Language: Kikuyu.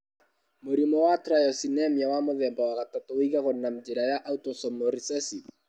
Mũrimũ wa tyrosinemia wa mũthemba wa gatatũ ũigagwo na njĩra ya autosomal recessive.